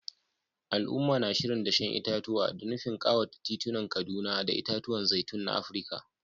Al’umma na shirin dashen itatuwa, da nufin kawata titunan Kaduna da itatuwan zaitun na Afirka.